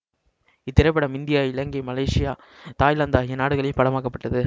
இத்திரைப்படம் India Ilangai Malaysia Thailand ஆகிய நாடுகளில் படமாக்க பட்டது